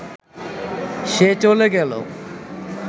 সে চলে গেল